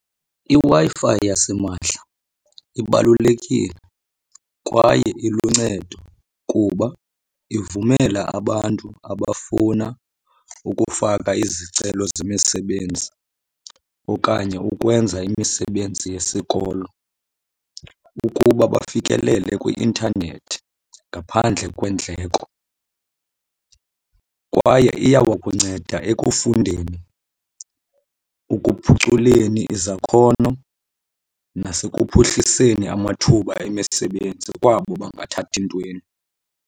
IWi-Fi yasimahla ibalulekile kwaye iluncedo kuba ivumela abantu abafuna ukufaka izicelo zemisebenzi okanye ukwenza imisebenzi yesikolo ukuba bafikelele kwi-intanethi ngaphandle kweendleko. Kwaye iyawakunceda ekufundeni, ekuphuculeni izakhono nasekuphuhliseni amathuba emisebenzi kwabo bangathathi ntweni.